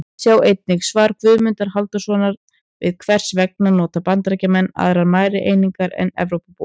Sjá einnig: Svar Guðmundar Hálfdanarsonar við Hvers vegna nota Bandaríkjamenn aðrar mælieiningar en Evrópubúar?